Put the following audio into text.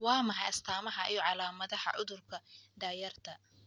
Waa maxay astamaha iyo calaamadaha cudurka da'yarta?